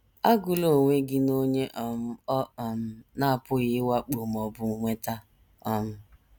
Agụla onwe gị n’onye um ọ um na - apụghị ịwakpo ma ọ bụ nweta. ” um